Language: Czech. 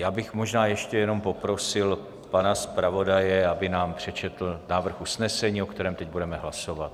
Já bych možná ještě jenom poprosil pana zpravodaje, aby nám přečetl návrh usnesení, o kterém teď budeme hlasovat.